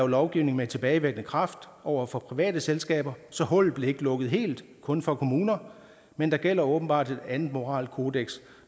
lovgive med tilbagevirkende kraft over for private selskaber så hullet blev ikke lukket helt kun for kommuner men der gælder åbenbart et andet moralkodeks